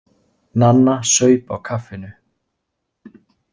Nanna saup á kaffinu.